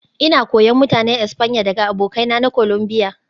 Ina koyon Mutanen Espanya daga abokaina na Colombia